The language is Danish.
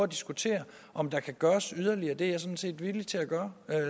diskutere om der kan gøres yderligere det er jeg sådan set villig til at gøre